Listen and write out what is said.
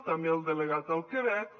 també el delegat al quebec